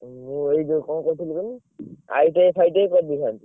ମୁଁ ଏଇ ଯଉ କଣ କହୁଥିଲି କୁହନୀ ITI ଫାଇଟିଆଇ କରି ଦେଇଥାନ୍ତି।